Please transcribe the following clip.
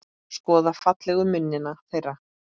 Skoða fallegu munina þeirra.